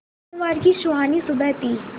सोमवार की सुहानी सुबह थी